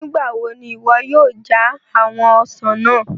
Nigbawo ni iwọ yoo ja awọn ọsan naa?